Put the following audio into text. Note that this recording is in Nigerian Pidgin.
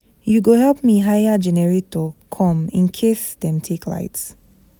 You go help me hire generator come in case dem take light.